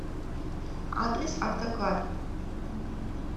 адрес автоклад